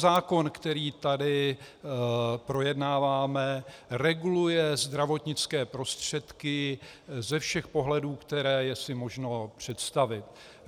Zákon, který tady projednáváme, reguluje zdravotnické prostředky ze všech pohledů, které si je možno představit.